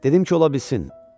Dedim ki, ola bilsin.